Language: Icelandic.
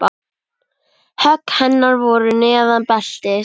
Högg hennar voru neðan beltis.